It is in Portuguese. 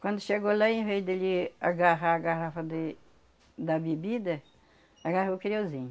Quando chegou lá, em vez dele agarrar a garrafa de da bebida, agarrou o.